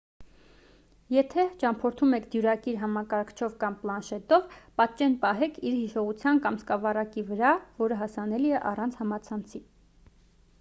եթե ճամփորդում եք դյուրակիր համակարգչով կամ պլանշետով պատճեն պահեք իր հիշողության կամ սկավառակի վրա որը հասանելի է առանց համացանցի։